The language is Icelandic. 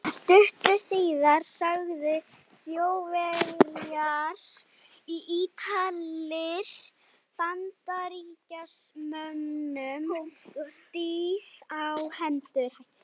Stuttu síðar sögðu Þjóðverjar og Ítalir Bandaríkjamönnum stríð á hendur.